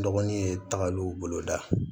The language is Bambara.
N dɔgɔnin ye tagaliw boloda